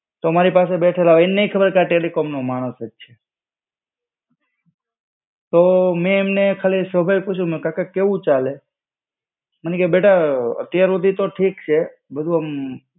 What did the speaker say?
તો અમારી પાસે બેઠેલા, એને નઈ ખબર કે આ ટેલિકોમનો માણસ જ છે. તો મેં એમને ખાલી એક સવાલ પૂછ્યું, મ કાકા કેવું ચાલે? મને કેય, બેટા અત્યાર હુડી તો ઠીક છે, બધું મ.